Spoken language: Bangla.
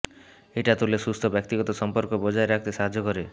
এটা তোলে সুস্থ ব্যক্তিগত সম্পর্ক বজায় রাখতে সাহায্য করে